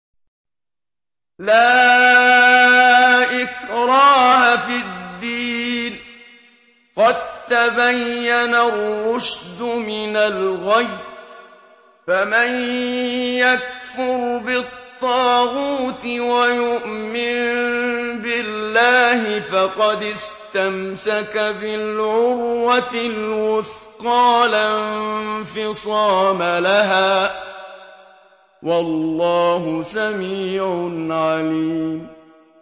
لَا إِكْرَاهَ فِي الدِّينِ ۖ قَد تَّبَيَّنَ الرُّشْدُ مِنَ الْغَيِّ ۚ فَمَن يَكْفُرْ بِالطَّاغُوتِ وَيُؤْمِن بِاللَّهِ فَقَدِ اسْتَمْسَكَ بِالْعُرْوَةِ الْوُثْقَىٰ لَا انفِصَامَ لَهَا ۗ وَاللَّهُ سَمِيعٌ عَلِيمٌ